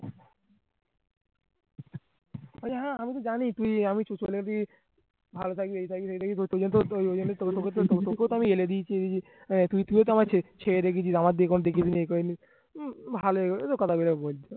আরে হ্যাঁ আমিতো জানি তুই আমি ভালো থাকবি এই থাকবি ওই থাকবি তুই তুইও তো চেয়ে দেখেছিস আমার দিকে ভালোই